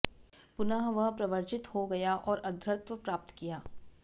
पुनः वह प्रव्रजित हो गया और अर्द्धत्व प्राप्त किया